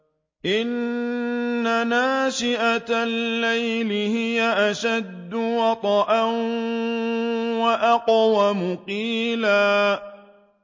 إِنَّ نَاشِئَةَ اللَّيْلِ هِيَ أَشَدُّ وَطْئًا وَأَقْوَمُ قِيلًا